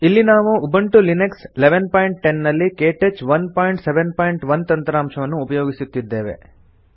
ಇಲ್ಲಿ ನಾವು Ubuntu Linux 1110 ನಲ್ಲಿ ಕೆಟಚ್ 171 ತಂತ್ರಾಂಶವನ್ನು ಉಪಯೊಗಿಸುತ್ತಿದ್ದೇವೆ